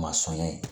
Masɔnya ye